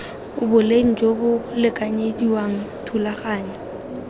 boleng jo bo lekanyediwang thulaganyo